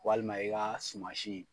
Walima i kaa sumansi